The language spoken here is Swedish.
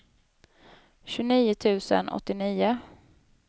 tjugonio tusen åttionio